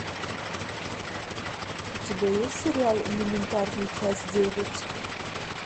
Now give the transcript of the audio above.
у тебя есть сериал элементарно часть девять